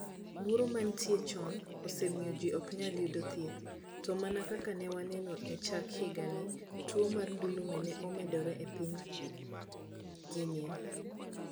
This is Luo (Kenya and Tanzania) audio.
Luoro ma ne nitie chon, osemiyo ji ok nyal yudo thieth, to mana kaka ne waneno e chak higani, tuwo mar ndulme ne omedore e piny Guinea.